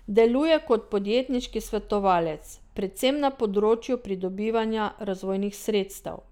Deluje kot podjetniški svetovalec, predvsem na področju pridobivanja razvojnih sredstev.